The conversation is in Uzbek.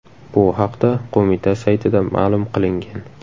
Bu haqda qo‘mita saytida ma’lum qilingan .